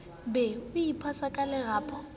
be o iphasa ka lerapo